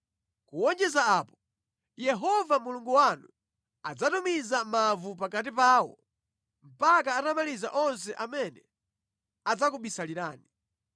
Kuwonjezera apo, Yehova Mulungu wanu adzatumiza mavu pakati pawo mpaka atamaliza onse amene adzakubisalirani.